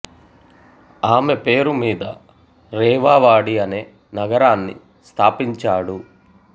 ఆమె పేరు మీద రేవా వాడి అనే నగరాన్ని స్థాపించాడు